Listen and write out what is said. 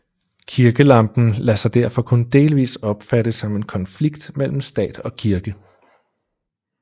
Kirkekampen lader sig derfor kun delvis opfatte som en konflikt mellem stat og kirke